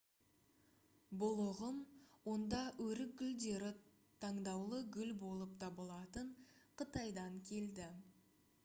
бұл ұғым онда өрік гүлдері таңдаулы гүл болып табылатын қытайдан келді